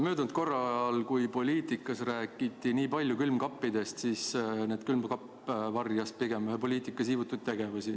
Möödunud korral, kui poliitikas nii palju külmkappidest räägiti, siis varjas külmkapp pigem ühe poliitiku siivutuid tegevusi.